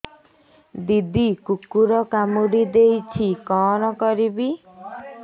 ଦିଦି କୁକୁର କାମୁଡି ଦେଇଛି କଣ କରିବି